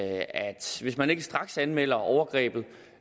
altså hvis man ikke straks anmelder overgrebet